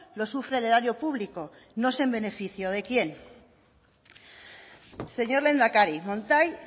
lo sufre el erario público no sé en beneficio de quién señor lehendakari montai